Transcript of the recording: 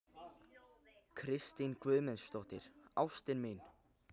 Kristín Guðmundsdóttir, ástin mín!